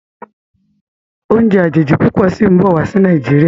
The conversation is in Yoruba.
Oúnjẹ àjèjì púpọ sìn bó wá sí Nàìjíríà.